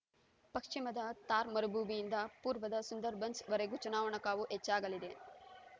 ಪಶ್ಚಿಮದ ಥಾರ್ ಮರುಭೂಮಿಯಿಂದ ಪೂರ್ವದ ಸುಂದರ್‌ಬನ್ಸ್‌ವರೆಗೂ ಚುನಾವಣಾ ಕಾವು ಹೆಚ್ಚಾಗಲಿದೆ